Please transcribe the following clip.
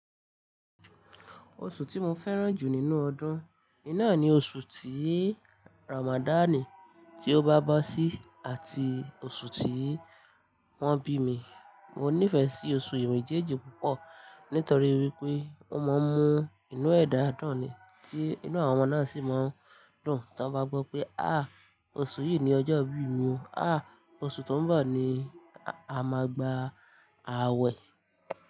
Oṣù tí mo fẹ́ràn jù nínú ọdún, oun ni oṣù tí Ramadan tí ó bá bo sí àti oṣù tí wọ́n bí mi. Mo nífẹ̀ẹ́ sí oṣù mejeeji púpọ̀ nítorí wípé ó máa ń mú inú ẹ̀dá dun ni tí inú àwọn ọmọ náà sì máa ń dùn tí wọ́n bá gbọ́ pé há, oṣù yìí ni ọjọ́ ìbí mi ò, há oṣù tó ń bọ̀ ni a máa gba àwẹ̀.